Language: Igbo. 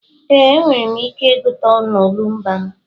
Ee, enwere m ike ịgụta n'olumba m.